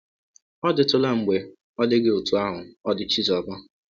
Ọ̀ dịtụla mgbe ọ dị gị ọtụ ahụ ọ dị Chizọba?